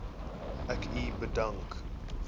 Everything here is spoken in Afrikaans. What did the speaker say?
ek u bedank